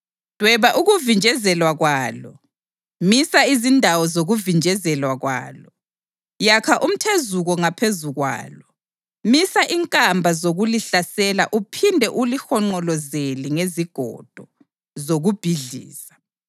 Dweba ukuvinjezelwa kwalo: Misa izindawo zokuvinjezelwa kwalo, yakha umthezuko ngaphezu kwalo, misa inkamba zokulihlasela uphinde ulihonqolozele ngezigodo zokubhidliza.